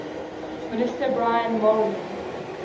minister brian mulroney